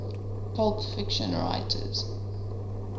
pulp fiction writers